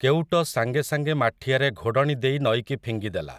କେଉଟ ସାଙ୍ଗେ ସାଙ୍ଗେ ମାଠିଆରେ ଘୋଡ଼ଣି ଦେଇ ନଈକି ଫିଙ୍ଗିଦେଲା ।